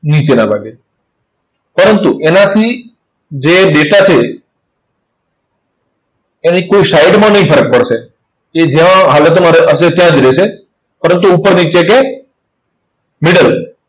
નીચેના ભાગે. પરંતુ એનાથી જે data છે, એની કોઈ side માં નહિ ફરક પડશે. એ જ્યાં હાલતમાં ર~હશે, ત્યાં જ રહેશે. પરંતુ ઉપર એટલે કે middle